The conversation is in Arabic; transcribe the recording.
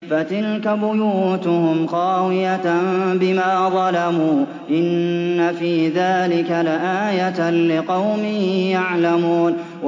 فَتِلْكَ بُيُوتُهُمْ خَاوِيَةً بِمَا ظَلَمُوا ۗ إِنَّ فِي ذَٰلِكَ لَآيَةً لِّقَوْمٍ يَعْلَمُونَ